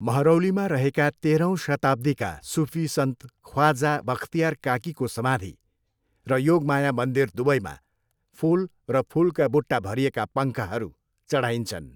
महरौलीमा रहेका तेह्रौँ शताब्दीका सुफी सन्त ख्वाजा बख्तियार काकीको समाधि र योगमाया मन्दिर दुवैमा फुल र फुलका बुट्टा भरिएका पङ्खाहरू चढाइन्छन्।